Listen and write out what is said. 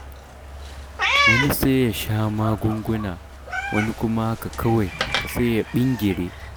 Wani sai ya sha magunguna, wani kuma haka kawai, sai ya ɓingire.